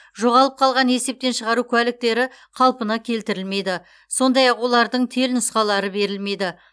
жоғалып қалған есептен шығару куәліктері қалпына келтірілмейді сондай ақ олардың телнұсқалары берілмейді